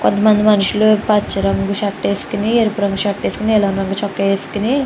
కొంత మంది మనుషులు పచ్చ రంగు షర్ట్ వేసుకుని ఎరుపు రంగు షర్ట్ వేసుకుని నీలం రంగు వేసుకుని --